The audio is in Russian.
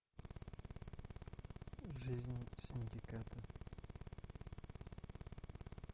жизнь синдиката